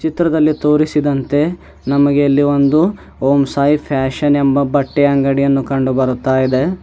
ಚಿತ್ರದಲ್ಲಿ ತೋರಿಸಿದಂತೆ ನಮಗೆ ಇಲ್ಲಿ ಒಂದು ಓಂ ಸಾಯಿ ಫ್ಯಾಷನ್ ಎಂಬ ಬಟ್ಟೆ ಅಂಗಡಿಯನ್ನು ಕಂಡುಬರುತಾ ಇದೆ.